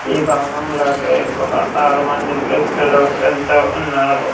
ఈ భవనంలోకి ఒక ఆరు మంది వ్యక్తులు వెళ్తూ ఉన్నారు.